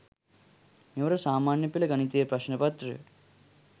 මෙවර සාමාන්‍ය පෙළ ගණිතය ප්‍රශ්න පත්‍රය